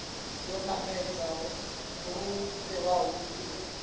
yo namedza lu fhiraho mpimo